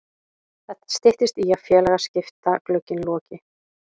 Það styttist í að félagaskiptaglugginn loki.